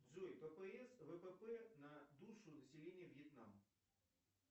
джой ппс впп на душу населения вьетнама